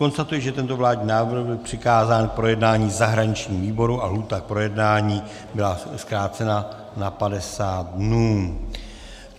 Konstatuji, že tento vládní návrh byl přikázán k projednání zahraničnímu výboru a lhůta k projednání byla zkrácena na 50 dnů.